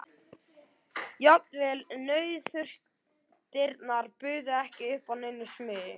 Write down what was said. Jafnvel nauðþurftirnar buðu ekki upp á neina smugu.